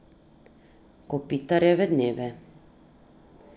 Kopitarjeve dneve.